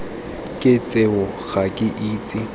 ke tseo ga ke itse